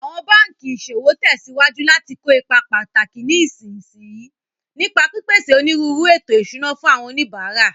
Awọn banki iṣowo tẹsiwaju lati ko ipa pataki ní ìsinsìnyí, nípa pípèsè onírúurú ètò ìṣúná fún àwọn oníbàárà.